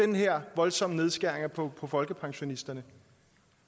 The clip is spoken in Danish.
den her voldsomme nedskæring på boligydelsen folkepensionisterne